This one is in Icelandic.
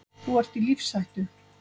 Þú ert í lífshættu.